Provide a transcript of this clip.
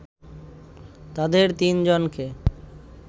তাদের তিনজনকে